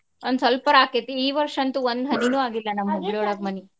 ಒಂದ್ ಸ್ವಲ್ಪ ಅರಾ ಆಕ್ಕೇತಿ. ಈ ವರ್ಷ ಅಂತು ಒಂದ್ ಹನಿನು ಅಗಿಲ್ಲಾ ನಮ್ ಹುಬ್ಳಿಯೊಳಗ ಮಳಿ.